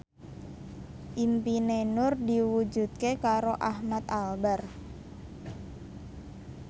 impine Nur diwujudke karo Ahmad Albar